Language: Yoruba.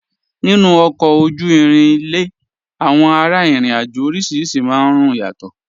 Nínu ọ̀kọ ojú-ìrìn ilẹ̀, awọn ara-ìrìn-àjọ̀ orísíríṣì máa n rún yàtọ̀.